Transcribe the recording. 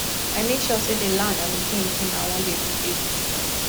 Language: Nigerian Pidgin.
i make sure say dey land and the kain thing i wan dey do dey the same